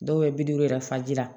Dɔw bɛ bi duuru yɛrɛ faji la